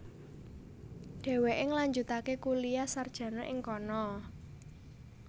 Dhéwéké ngelanjutaké kuliah sarjana ing kono